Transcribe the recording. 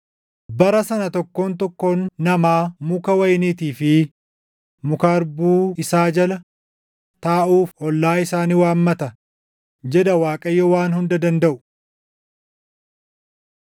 “ ‘Bara sana tokkoon tokkoon namaa muka wayiniitii fi muka harbuu isaa jala taaʼuuf ollaa isaa ni waammata’ jedha Waaqayyo Waan Hunda Dandaʼu.”